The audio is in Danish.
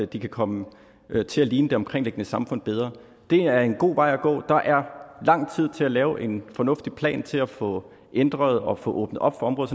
de kan komme til at ligne det omkringliggende samfund bedre det er en god vej at gå der er lang tid til at lave en fornuftig plan til at få ændret og få åbnet op for